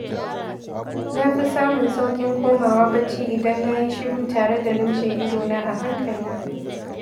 Na fi samun sauƙin komawa bacci idan na yi shiru tare da lumshe idona a hankali.